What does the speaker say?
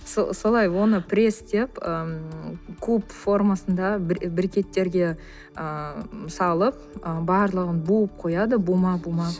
солай оны престеп ыыы куб формасында брекеттерге ыыы салып барлығын буып қояды бума бума